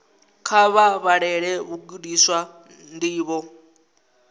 kha vha vhalele vhagudiswa ndivho